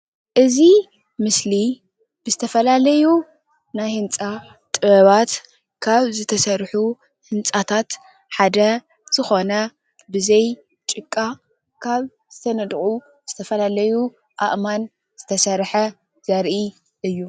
እዚ ምስሊ ዝተፈላለዩ ናይ ህንፃ ጥበባት ካብ ዝተሰርሑ ህንፃታት ሓደ ዝኮነ ብዘይ ጭቃ ካብ ዝተነደቁ ዝተፈላለዩ አእማን ዝተሰርሐ ዘርኢ እዩ ።